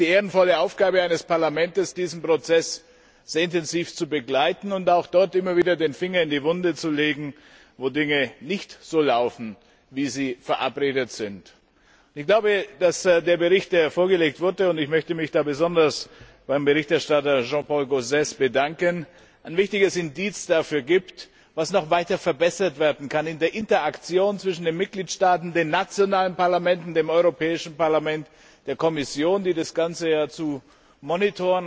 Es ist die ehrenvolle Aufgabe eines Parlaments, diesen Prozess sehr intensiv zu begleiten und auch dort immer wieder den Finger in die Wunde zu legen, wo die Dinge nicht so laufen, wie sie verabredet wurden. Ich glaube, dass der Bericht, der hier vorgelegt wurde und ich möchte mich da besonders beim Berichterstatter Jean Paul Gauzès bedanken ein wichtiges Indiz dafür gibt, was noch weiter verbessert werden kann in der Interaktion zwischen den Mitgliedstaaten, den nationalen Parlamenten, dem Europäischen Parlament, der Kommission, die das Ganze ja überwachen muss,